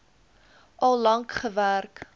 al lank gewerk